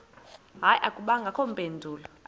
hayi akubangakho mpendulo